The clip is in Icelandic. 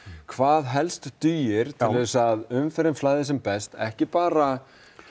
hvað helst dugir til að umferðin flæðir sem best ekki bara